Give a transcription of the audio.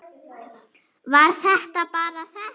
Var það bara þetta?